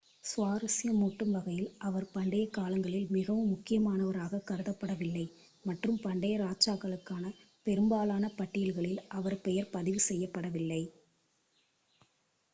சுவாரஸ்யமூட்டும் வகையில் அவர் பண்டைய காலங்களில் மிகவும் முக்கியமானவராக கருதப்படவில்லை மற்றும் பண்டைய ராஜாக்களுக்கான பெரும்பாலான பட்டியல்களில் அவர் பெயர் பதிவு செய்யப்படவில்லை